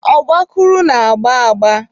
Ọgbakụrụ na-agba agba.